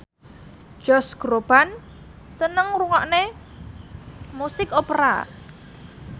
Josh Groban seneng ngrungokne musik opera